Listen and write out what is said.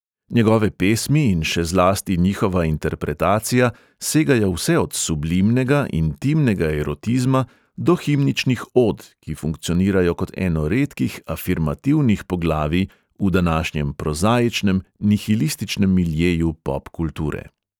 Njegove pesmi in še zlasti njihova interpretacija segajo vse od sublimnega, intimnega erotizma do himničnih od, ki funkcionirajo kot eno redkih afirmativnih poglavij v današnjem prozaičnem, nihilističnem miljeju pop kulture.